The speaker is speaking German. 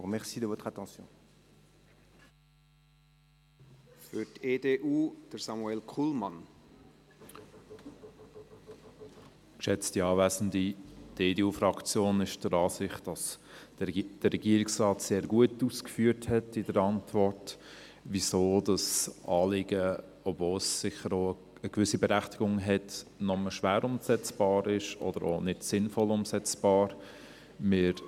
Die EDU-Fraktion ist der Ansicht, dass der Regierungsrat in seiner Antwort sehr gut ausgeführt hat, weshalb das Anliegen – obwohl es eine gewisse Berechtigung hat – nur schwer oder auch nicht sinnvoll umsetzbar ist.